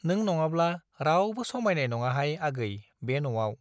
नों नङाब्ला रावबो समाइनाय नङाहाय आगै बे न'आव ।